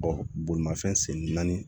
bolimafɛn sen naani